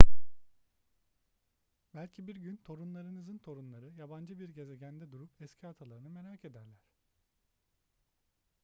belki bir gün torunlarınızın torunları yabancı bir gezegende durup eski atalarını merak ederler